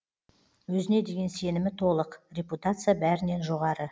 өзіне деген сенімі толық репутация бәрінен жоғары